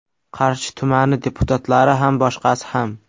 Qarshi tumani deputatlari ham boshqasi ham.